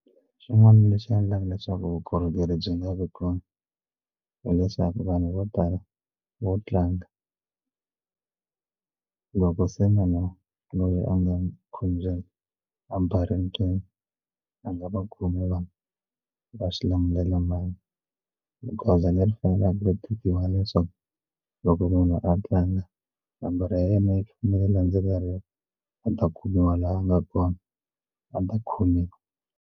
Xin'wana lexi endlaka leswaku vukorhokeri byi nga vi kona hileswaku vanhu vo tala vo tlanga loko se munhu loyi a nga khombyeni a nga va khome vanhu va swi lamulela mhangu goza leri faneleke ku tekiwa hileswaku loko munhu a tlanga nomboro ya yena yi fanele yi landzeleriwa a ta kumiwa laha a nga kona a ta khomiwa.